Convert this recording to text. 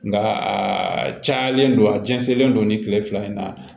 Nka a cayalen don a jɛnsɛnlen don nin kile fila in na